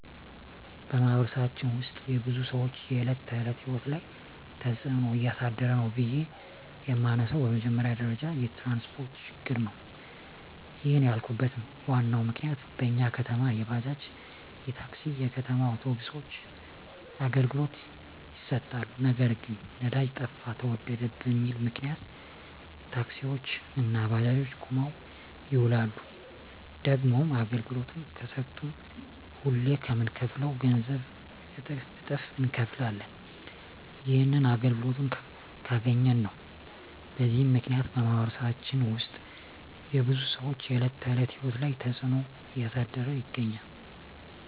በማኅበረሰባችን ውስጥ የብዙ ሰዎች የዕለት ተዕለት ሕይወት ላይ ትጽእኖ እያሳደረ ነው ብዬ የመነሣው በመጀመሪያ ደረጃ የትራንስፓርት ችግር ነው። ይህንን ያልኩበት ዋናው ምክንያት በኛ ከተማ የባጃጅ፣ የታክሲ፣ የከተማ አውቶቢሶች አገልግሎት ይሠጣሉ። ነገር ግን ነዳጅ ጠፋ ተወደደ በሚል ምክንያት ታክሲዎች እና ባጃጆች ቁመው ይውላሉ። ደግሞም አገልግሎት ከሠጡም ሁሌ ከምንከፍለው ገንዘብ እጥፍ እነከፍላለን። ይህንንም አገልግሎቱን ካገኘን ነው። በዚህ ምክንያት በማኅበረሰባችን ውስጥ የብዙ ሰዎች የዕለት ተዕለት ሕይወት ላይ ትጽእኖ እያሳደረ ይገኛል።